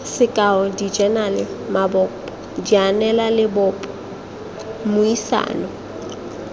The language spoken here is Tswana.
sekao dijenale maboko dianelalebopo mmuisano